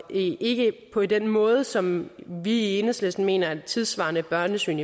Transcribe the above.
ikke på den måde som vi i enhedslisten mener at et tidssvarende børnesyn